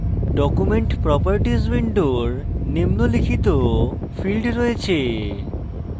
document properties window নিম্নলিখিত fields রয়েছে